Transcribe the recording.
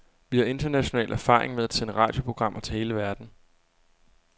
Vi har international erfaring med at sende radioprogrammer til hele verden.